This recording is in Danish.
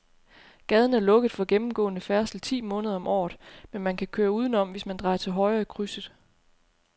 Gaden er lukket for gennemgående færdsel ti måneder om året, men man kan køre udenom, hvis man drejer til højre i krydset.